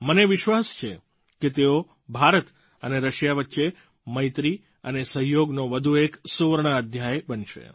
મને વિશ્વાસ છે કે તેઓ ભારત અને રશિયા વચ્ચે મૈત્રી અને સહયોગનો વધુ એક સુવર્ણ અધ્યાય બનશે